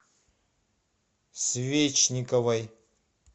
свечниковой